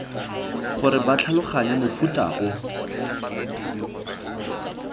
gore ba tlhaloganye mofuta o